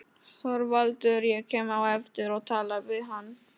ÞORVALDUR: Ég kem á eftir og tala við hann.